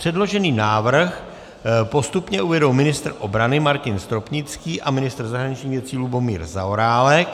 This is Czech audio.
Předložený návrh postupně uvedou ministr obrany Martin Stropnický a ministr zahraničních věcí Lubomír Zaorálek.